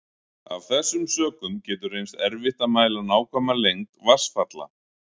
Af þessum sökum getur reynst erfitt að mæla nákvæma lengd vatnsfalla.